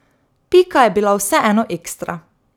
Pika je bila vseeno ekstra.